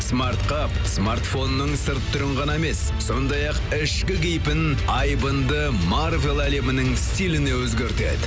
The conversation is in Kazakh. смартқа смартфонның сырт түрін ғана емес сондай ақ ішкі кейпін айбынды марвел әлемінің стиліне өзгертеді